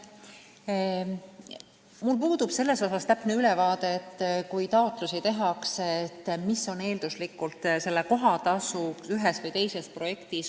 Mul puudub täpne ülevaade sellest, et kui taotlusi tehakse, siis mis on eelduslik kohatasu ühes või teises projektis.